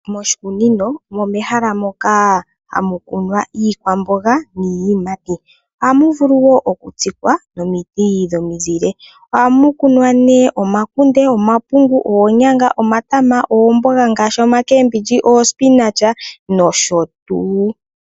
Moshikunino omo mehala moka hamu kunwa Iikwamboga niiyimati ohamu vulu woo okutsikwa nomiti dhimuzile. Ohamu vulu nee okukunwa omakunde omapungu ,oonyanga ,oomboga ,omatama nosho tuu.